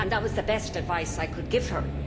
That was the best advice I could give her.